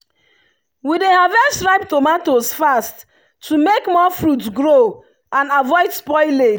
we dey harvest ripe tomatoes fast to make more fruit grow and avoid spoilage.